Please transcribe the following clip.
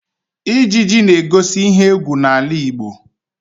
Ijiji na-egosi ihe égwú n'ala Igbo